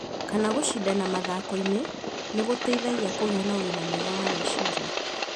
kana gũcindana mathakoinĩ nĩ gũteithagia kũgĩa na ũgima mwega wa meciria.